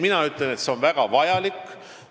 Mina ütlen, et see on väga vajalik.